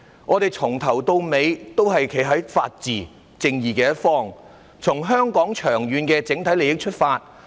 我們由始至終也是站在法治和正義的一方，從香港整體長遠利益出發。